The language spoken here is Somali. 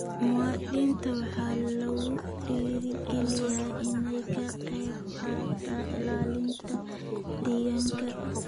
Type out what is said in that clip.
Muwaadiniinta waxaa lagu dhiirigelinayaa inay ka qaybqaataan ilaalinta deegaanka.